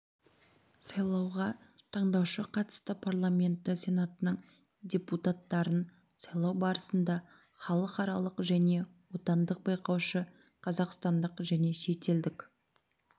сайлауға таңдаушы қатысты парламенті сенатының депутаттарын сайлау барысында халықаралық және отандық байқаушы қазақстандық және шетелдік